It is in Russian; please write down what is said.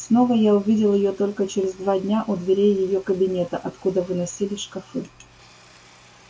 снова я увидел её только через два дня у дверей её кабинета откуда выносили шкафы